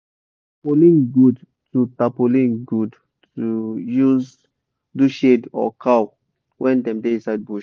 tarpolin good to tarpolin good to use do shade or cow when dem da inside bush